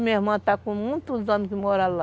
Minha irmã está com muitos anos que mora lá.